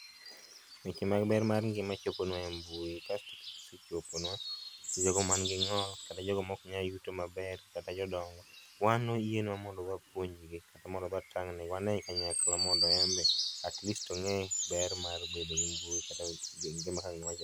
Weche mag ber mar ngima choponwa e mbui kasto ka gise choponwa to jogo man gi ng'ol kata jogo ma ok nyal yuto maber kata jodongo wan oyienwa mondo wapuonj gi kata mondo wadhi watangne gi wane kanyakla atleast one ber mar bedo e mbui